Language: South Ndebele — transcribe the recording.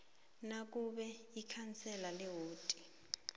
nakube ikhansela lewodi